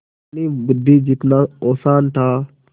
जितनी बुद्वि जितना औसान था